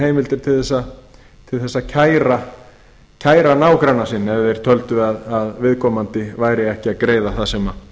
heimildir til þess að kæra nágranna sinn ef þeir töldu að viðkomandi væri ekki að greiða það sem